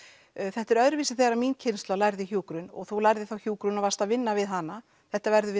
þetta er öðruvísi þegar mín kynslóð lærði hjúkrun og þú lærður þá hjúkrun og varst að vinna við hana þetta verður